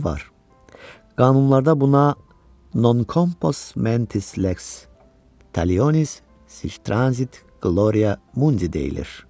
Qanunlarda buna non compos mentis lex Talionis, sic transit gloria mundi deyilər.